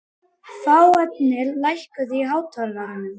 Fáfnir, lækkaðu í hátalaranum.